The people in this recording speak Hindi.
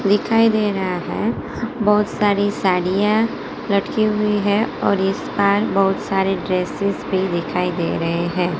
दिखाई दे रहा है बहोत सारी साड़ियां लटकी हुई है और इस बार बहोत सारे ड्रेसेस भी दिखाई दे रहे हैं।